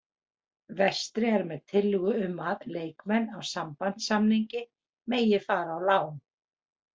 Vestri er með tillögu um að leikmenn á sambandssamningi megi fara á lán